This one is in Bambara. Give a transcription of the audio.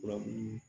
Fura mun